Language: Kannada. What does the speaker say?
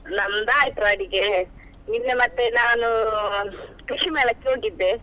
ನಮ್ದು ಆಯ್ತು ಅಡಿಗೆ, ನಿನ್ನೆ ಮತ್ತೆ ನಾನು ಕೃಷಿ ಮೇಳಕ್ಕೆ ಹೋಗಿದ್ದೆ.